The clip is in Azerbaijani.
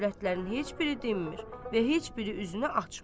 Övrətlərin heç biri dinmir və heç biri üzünü açmır.